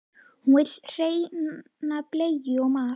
Hún vill hreina bleiu og mat.